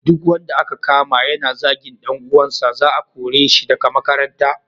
Duk wanda aka kama yana zagin dan uwansa, za a kore shi daga makaranta.